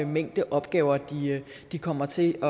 mængde opgaver de kommer til